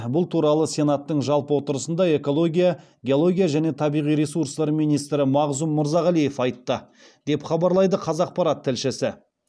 бұл туралы сенаттың жалпы отырысында экология геология және табиғи ресурстар министрі мағзұм мырзағалиев айтты деп хабарлайды қазақпарат тілшісі